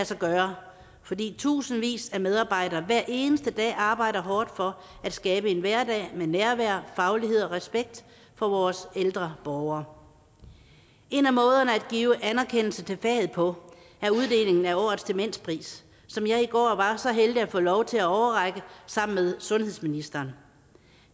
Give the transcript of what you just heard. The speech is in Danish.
sig gøre fordi tusindvis af medarbejdere hver eneste dag arbejder hårdt for at skabe en hverdag med nærvær faglighed og respekt for vores ældre borgere en af måderne at give anerkendelse til faget på er uddelingen af årets demenspris som jeg i går var så heldig at få lov til at overrække sammen med sundhedsministeren